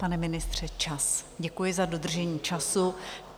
Pane ministře, čas - děkuji za dodržení času.